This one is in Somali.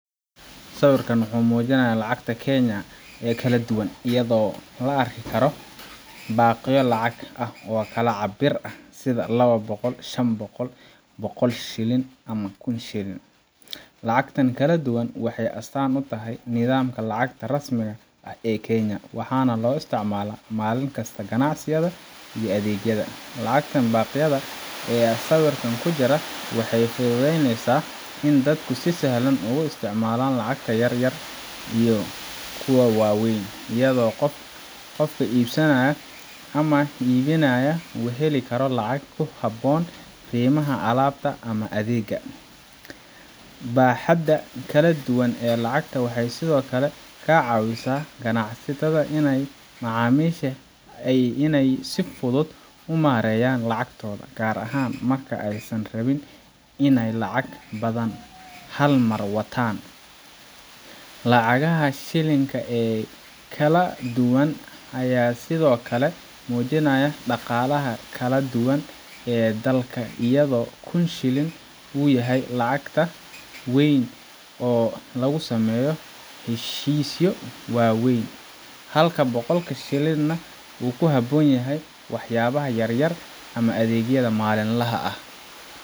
Sawirkan wuxuu muujinayaa lacagta Kenya oo kala duwan, iyadoo la arki karo baaqyo lacag ah oo kala cabir ah sida laba boqo, shan boqol, boloql shillin iyo iyo kun shillin. Lacagtan kala duwan waxay astaan u tahay nidaamka lacagta rasmiga ah ee Kenya, waxaana loo isticmaalaa maalin kasta ganacsiga iyo adeegyada. Lacagta baaqyada ah ee sawirka ku jirta waxay fududeysaa in dadku si sahlan ugu isticmaalaan lacagta yar iyo kuwa waaweyn, iyadoo qofka iibsanaya ama iibinaya uu heli karo lacag ku habboon qiimaha alaabta ama adeegga. Baaxadda kala duwan ee lacagta waxay sidoo kale ka caawisaa ganacsatada iyo macaamiisha inay si fudud u maareeyaan lacagtooda, gaar ahaan marka aysan rabin inay lacag badan hal mar wataan. Lacagaha shilling ka ah ee kala duwan ayaa sidoo kale muujinaya dhaqaalaha kala duwan ee dalka, iyadoo kun shillin uu yahay lacag weyn oo lagu sameeyo heshiisyo waaweyn, halka boqlka shillin nah uu ku habboon yahay waxyaabaha yaryar ama adeegyada maalinlaha ah.